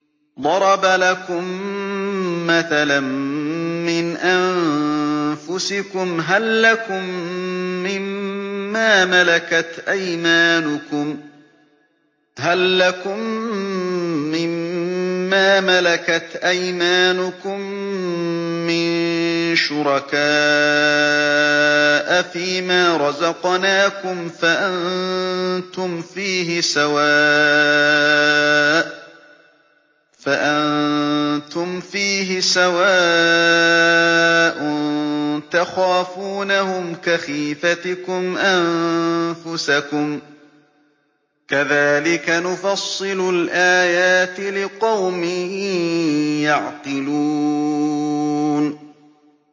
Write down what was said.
ضَرَبَ لَكُم مَّثَلًا مِّنْ أَنفُسِكُمْ ۖ هَل لَّكُم مِّن مَّا مَلَكَتْ أَيْمَانُكُم مِّن شُرَكَاءَ فِي مَا رَزَقْنَاكُمْ فَأَنتُمْ فِيهِ سَوَاءٌ تَخَافُونَهُمْ كَخِيفَتِكُمْ أَنفُسَكُمْ ۚ كَذَٰلِكَ نُفَصِّلُ الْآيَاتِ لِقَوْمٍ يَعْقِلُونَ